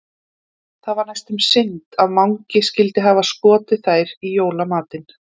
Það var næstum synd að Mangi skyldi hafa skotið þær í jólamatinn.